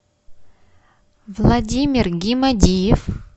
владимир гимадиев